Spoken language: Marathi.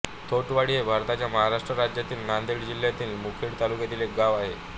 थोटवाडी हे भारताच्या महाराष्ट्र राज्यातील नांदेड जिल्ह्यातील मुखेड तालुक्यातील एक गाव आहे